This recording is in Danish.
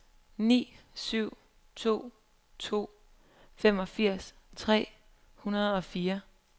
ni syv to to femogfirs tre hundrede og fire